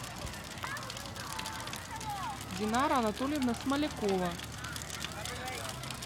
динара анатольевна смолякова